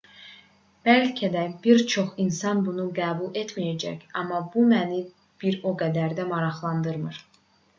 bəlkə də bir çox insan bunu qəbul etməyəcək amma bu məni bir o qədər də maraqlandırmır